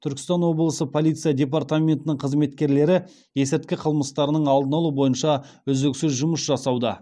түркістан облысы полиция департаментінің қызметкерлері есірткі қылмыстарының алдын алу бойынша үздіксіз жұмыс жасауда